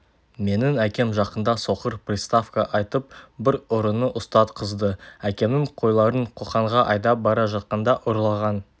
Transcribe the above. менің әкем жақында соқыр приставқа айтып бір ұрыны ұстатқызды әкемнің қойларын қоқанға айдап бара жатқанда ұрлаған